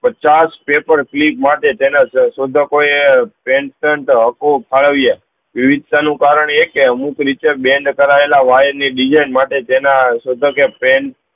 પચાસ paper clip માટે તેના શોધકો એ પેનટેન્ટ હ્ફો વિવધતા નું કારણ એ કે અમુક રીતે બેન્ડ કરાયેલા wire ની design માટે જેના લેગભગે પેન્ટ